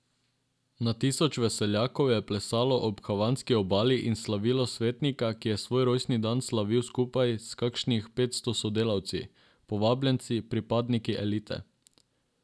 Na tisoče veseljakov je plesalo ob havanski obali in slavilo svetnika, ki je svoj rojstni dan slavil skupaj s kakšnih petsto sodelavci, povabljenci, pripadniki elite.